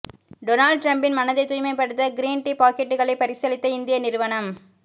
Donald டிரம்பின் மனதைத் தூய்மைப்படுத்த கிரீன் டீ பாக்கெட்டுகளை பரிசளித்த இந்திய நிறுவனம்